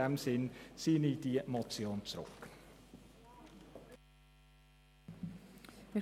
In diesem Sinn ziehe ich die Motion zurück.